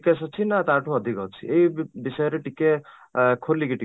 GKS ଅଛି ନା ତା ଠୁ ଅଧିକ ଅଛି ଏଇ ବିଷୟରେ ଟିକେ ଅଂ ଖୋଲିକି ଟିକେ